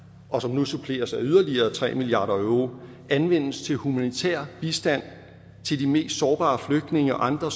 og som nu suppleres af yderligere tre milliard euro anvendes til humanitær bistand til de mest sårbare flygtninge og andre